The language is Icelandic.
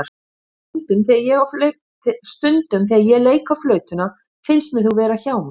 Stundum þegar ég leik á flautuna finnst mér þú vera hjá mér.